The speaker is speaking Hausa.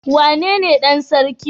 Wane ne Dan sarki?